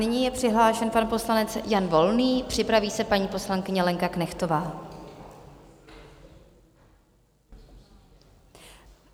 Nyní je přihlášen pan poslanec Jan Volný, připraví se paní poslankyně Lenka Knechtová.